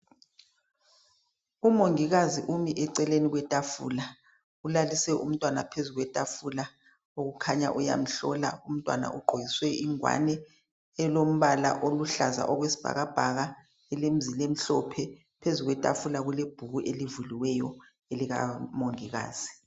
Umongikazi umi eceleni kwetafula ulalise umntwana phezu kwetafula kukhanya uyamhlola umntwana ugqokiswe ingwane elombala oluhlaza okwesibhakabhaka ilemizila emhlophe phezu kwetafula kulebhuku elivuliweyo elikamongikazi.